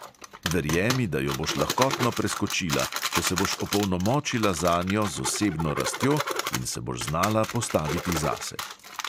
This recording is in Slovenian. Verjemi, da jo boš lahkotno preskočila, če se boš opolnomočila zanjo z osebno rastjo in se boš znala postaviti zase.